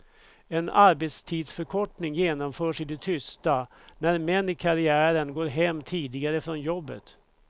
En arbetstidsförkortning genomförs i det tysta när män i karriären går hem tidigare från jobbet.